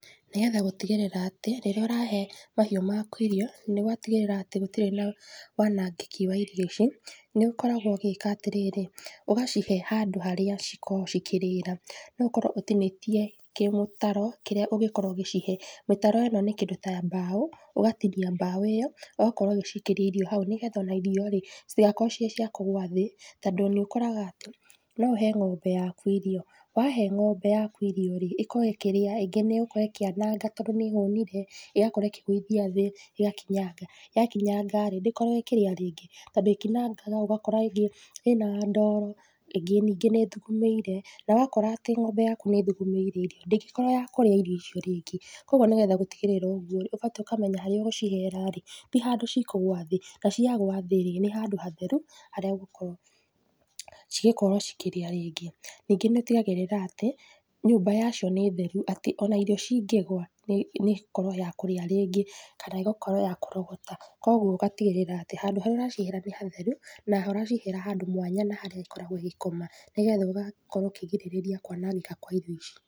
Nĩgetha gũtigĩrĩra atĩ, rĩrĩa ũrahe mahiũ maku irio nĩ watigĩrĩra atĩ gũtirĩ na wanangĩki wa irio ici nĩ ũkoragwo ũgĩka atĩrĩrĩ, ũgacihe handũ harĩa cikoragũo cikĩrĩra. No ũkorwo ũtinĩtie kĩ mũtaro kĩrĩa ũngikorũo ũgĩcihe. Mĩtaro ĩno nĩ kĩndũ ta mbao, ũgatinia mbao ĩyo, ũgakorũo ũgĩciikĩria irio hau nĩgetha ona irio rĩ citigakorwo cii ciagũitĩka thĩ. Tondũ nĩ ũkoraga atĩ no ũhe ng'ombe yaku irio, wahe ng'ombe yaku irio rĩ, ĩkoragwo ĩkĩrĩa rĩngĩ nĩ ĩgũkorũo ĩkĩananga tondũ nĩ ĩhũnire, ĩgakorwo ĩkĩgũithia thĩ ĩgakinyanga. Yakinyanga ndĩkoragũo ĩkĩria rĩngĩ, tondũ ĩkinyangaga ũgakora ĩngĩ ĩna ndoro ĩngĩ nĩngĩ nĩ ĩthugumĩire, na wakora atĩ ng'ombe yaku nĩ ĩthugumĩire irio ndĩngĩkorũo ya kũrĩa irio ico rĩngĩ. Koguo nĩgetha gũtigĩrĩra ũguo rĩ ũbatiĩ ũkamenya harĩa ũgũcihera rĩ ti handũ cikũgũa thĩ, na ciagũa thĩ rĩ nĩ handũ hatheru harĩa igokorũo cigĩkorũo cikĩrĩa rĩngi. Ningĩ nĩ ũtigagĩrĩra atĩ nyũmba yacio nĩ theru atĩ ona irio cingĩgũa nĩ ĩgũkorũo yakũrĩa rĩngĩ, kana ĩgakorũo ya kũrogota. Koguo ũgatigĩrĩra atĩ handũ harĩa ũracihera nĩ hatheru na ũracihera handũ mwanya na harĩa ikoragwo igĩkoma nĩgetha ũgakorwo ũkĩgirĩrĩria kwanangĩka kwa irio ici.